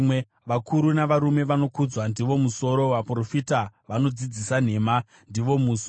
vakuru navarume vanokudzwa ndivo musoro, vaprofita vanodzidzisa nhema ndivo muswe.